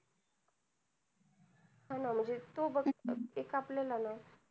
हा ना म्हणजे तू बघ एक आपल्याला ना,